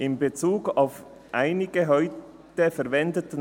«In Bezug auf einige heute verwendete[n]